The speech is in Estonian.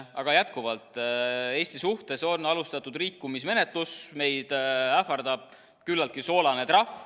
Aga jätkuvalt, Eesti suhtes on alustatud rikkumismenetlus, meid ähvardab küllaltki soolane trahv.